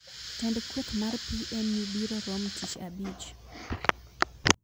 Jotend kweth mar PNU biro rom tich abich